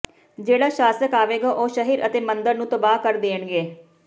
ਜਿਹੜਾ ਸ਼ਾਸਕ ਆਵੇਗਾ ਉਹ ਸ਼ਹਿਰ ਅਤੇ ਮੰਦਰ ਨੂੰ ਤਬਾਹ ਕਰ ਦੇਣਗੇ